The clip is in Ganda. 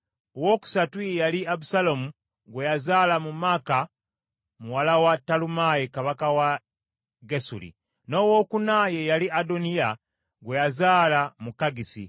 owookusatu ye yali Abusaalomu gwe yazaala mu Maaka muwala wa Talumaayi kabaka w’e Gesuli; n’owookuna ye yali Adoniya gwe yazaala mu Kaggisi.